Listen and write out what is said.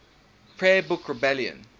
prayer book rebellion